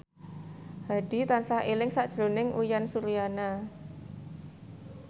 Hadi tansah eling sakjroning Uyan Suryana